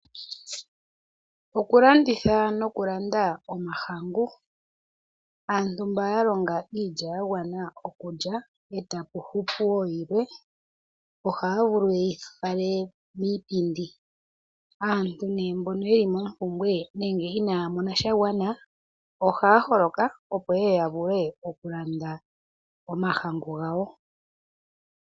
Okulanditha nokulanda omahangu Aantu mba iilya yagwana okulya etapu hupu wo yilwe ohaa vulu yeyi fale miipindi. Aantu mbono ye li mompumbwe nenge inaa mona shagwana ohaa holoka opo yeye yavule okulanda omahangu gawo.